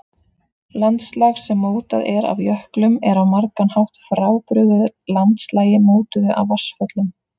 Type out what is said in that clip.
Landslag sem mótað er af jöklum er á margan hátt frábrugðið landslagi mótuðu af vatnsföllum.